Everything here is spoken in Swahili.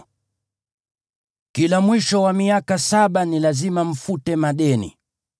Kila mwisho wa miaka saba ni lazima mfute madeni.